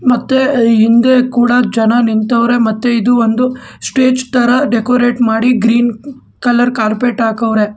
ಮತ್ತೆ ಹಿಂದೆ ಕೂಡ ಜನ ನಿಂತವ್ರೆ ಮತ್ತೆ ಇದು ಒಂದು ಸ್ಟೇಜ್ ತರ ಡೆಕೋರೇಟ್ ಮಾಡಿ ಗ್ರೀನ್ ಕಲರ್ ಕಾರ್ಪೆಟ್ ಹಾಕೋವರೆ.